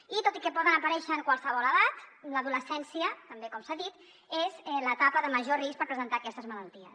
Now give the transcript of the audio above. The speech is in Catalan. i tot i que poden aparèixer en qualsevol edat l’adolescència també com s’ha dit és l’etapa de major risc per presentar aquestes malalties